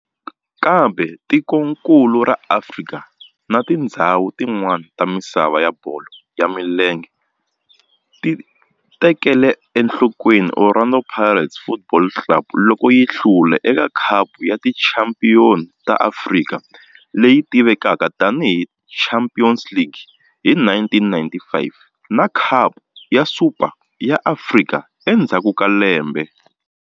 Kambe tikonkulu ra Afrika na tindzhawu tin'wana ta misava ya bolo ya milenge ti tekele enhlokweni Orlando Pirates Football Club loko yi hlula eka Khapu ya Tichampion ta Afrika, leyi tivekaka tani hi Champions League hi 1995 na Khapu ya Super ya Afrika endzhaku ka lembe.